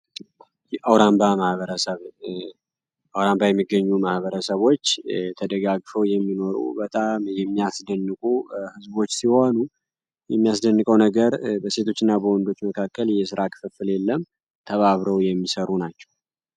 አውራምባ ማህበረሰብ አውራምባ የሚገኙ ማህበረሰቦች ተደጋግፈው የሚኖሩ በጣም የሚያስድንቁ ሕዝቦች ሲሆኑ የሚያስደንቀው ነገር በሴቶች እና በሆንዶች መካከል የስራ ክፍፍል የለም ተባብረው የሚሰሩ ናቸው።